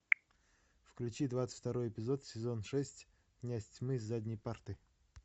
включи двадцать второй эпизод сезон шесть князь тьмы с задней парты